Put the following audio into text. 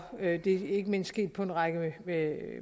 er ikke ikke mindst sket på en række